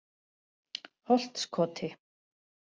Holtskoti